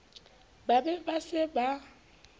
ba be ba se ba